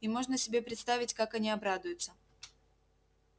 и можно себе представить как они обрадуются